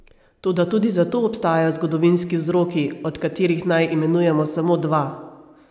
Toda tudi za to obstajajo zgodovinski vzroki, od katerih naj imenujemo samo dva.